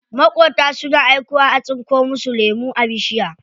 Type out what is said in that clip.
Maƙota suna aikowa a tsinko musu lemu a bishiya.